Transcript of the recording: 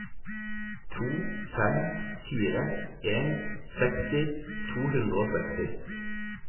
to fem fire en seksti to hundre og seksti